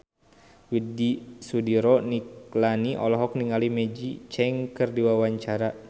Widy Soediro Nichlany olohok ningali Maggie Cheung keur diwawancara